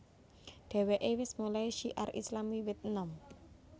Dheweke wis mulai syiar Islam wiwit enom